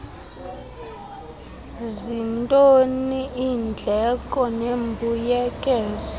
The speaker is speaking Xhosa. zintoni iindleko nembuyekezo